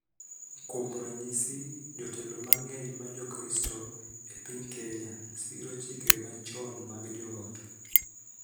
Kuom ranyisi. jotelo mang�eny ma Jokristo e piny Kenya siro chike machon mag joot.